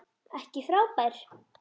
Ekki frábær.